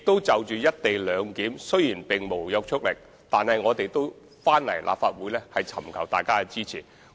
就有關"一地兩檢"的議案，雖然並無約束力，但政府也前來立法會尋求議員的支持。